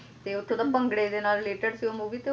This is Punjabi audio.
ਤੇ ਓੱਥੋਂ ਦਾ ਭੰਗੜੇ ਦੇ ਨਾਲ related film ਉਹ ਵੀ